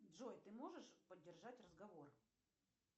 джой ты можешь поддержать разговор